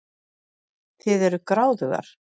Þið eruð gráðugar.